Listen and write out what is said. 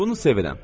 Bunu sevirəm.